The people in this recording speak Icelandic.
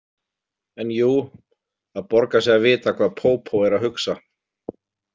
En jú, það borgar sig að vita hvað pópó er að hugsa.